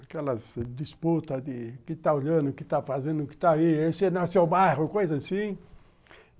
Aquelas disputas de quem está olhando, o que está fazendo, o que está aí, esse é nosso bairro, coisa assim.